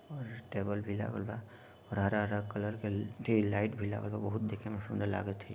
और टेबल भी लागल बा और हरा-हरा कलर के जे लाइट भी लागल बा बहुत देखेमें सुन्दर लागत हे |